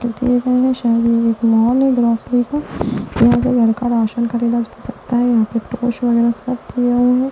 शायद यंहा मॉल है ग्रोसरी को यहां से घर का राशन खरीदा सकता है यहां पे टोस वगैरह सब दिया हुआ है।